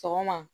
Sɔgɔma